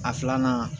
A filanan